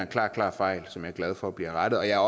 klar klar fejl som jeg er glad for bliver rettet jeg er